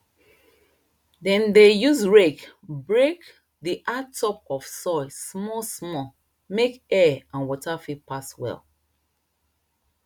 dem dey use rake break di hard top of soil smallsmall make air and water fit pass well